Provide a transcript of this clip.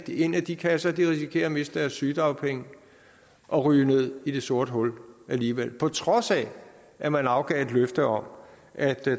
i en af de kasser risikerer at miste deres sygedagpenge og ryge ned i det sorte hul alligevel på trods af at man afgav et løfte om at